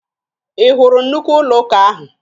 Ị hụrụ nnukwu ụlọụka ahụ?